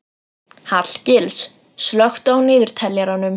Hallgils, slökktu á niðurteljaranum.